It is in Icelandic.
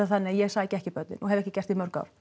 þannig að ég sæki ekki börnin og hef ekki gert í mörg ár